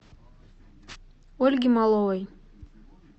ольги маловой